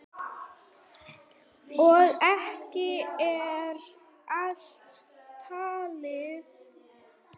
Og ekki er allt talið.